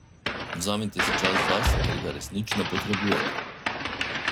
Vzemite si čas zase, ker ga resnično potrebujete.